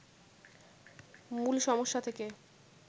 মূল সমস্যা থেকে